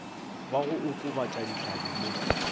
wa go okobatša dihlabi mo